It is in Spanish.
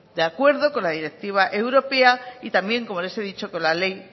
de acuerdo con la directiva europea y también como les he dicho con la ley